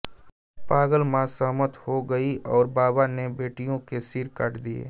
पागल माँ सहमत हो गई और बाबा ने बेटियों के सिर काट दिए